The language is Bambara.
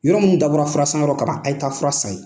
Yɔrɔ minnu dabɔra fura san yɔrɔ kama a ye taa fura san ye.